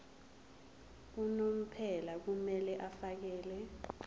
unomphela kumele afakele